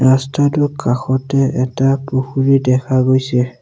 ৰাস্তাটোৰ কাষতে এটা পুখুৰী দেখা গৈছে।